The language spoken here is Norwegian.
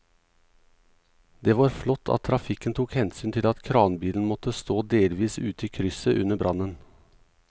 Det var flott at trafikken tok hensyn til at kranbilen måtte stå delvis ute i krysset under brannen.